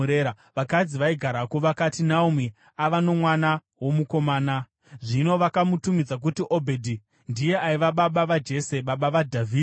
Vakadzi vaigarako vakati, “Naomi ava nomwana womukomana.” Zvino vakamutumidza kuti Obhedhi. Ndiye aiva baba vaJese, baba vaDhavhidhi.